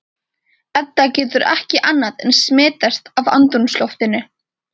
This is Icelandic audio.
Edda getur ekki annað en smitast af andrúmsloftinu.